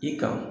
I kan